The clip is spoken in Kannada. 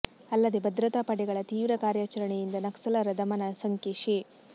ಅಲ್ಲದೇ ಭದ್ರತಾ ಪಡೆಗಳ ತೀವ್ರ ಕಾರ್ಯಾಚರಣೆಯಿಂದ ನಕ್ಸಲರ ದಮನ ಸಂಖ್ಯೆ ಶೇ